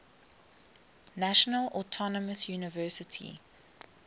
national autonomous university